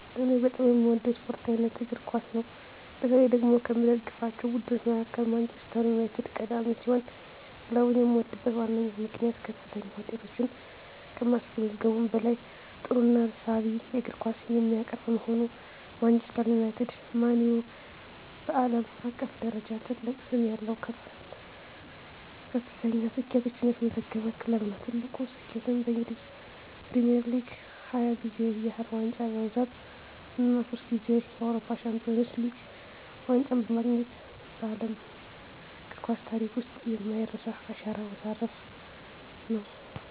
እኔ በጣም የምወደው የስፖርት አይነት እግር ኳስ ነው። በተለይ ደግሞ ከምደግፋቸው ቡድኖች መካከል ማንቸስተር ዩናይትድ ቀዳሚ ሲሆን፣ ክለቡን የምወድበት ዋነኛው ምክንያት ከፍተኛ ውጤቶችን ከማስመዝገቡም በላይ ጥሩና ሳቢ የእግር ኳስ የሚያቀርብ በመሆኑ ነው። ማንቸስተር ዩናይትድ (ማን ዩ) በዓለም አቀፍ ደረጃ ትልቅ ስም ያለው እና ከፍተኛ ስኬቶችን ያስመዘገበ ክለብ ነው። ትልቁ ስኬቱም በእንግሊዝ ፕሪሚየር ሊግ 20 ጊዜ ያህል ዋንጫ በማንሳት እና ሶስት ጊዜ የአውሮፓ ቻምፒየንስ ሊግ ዋንጫን በማግኘት በዓለም እግር ኳስ ታሪክ ውስጥ የማይረሳ አሻራ ማሳረፉ ነው።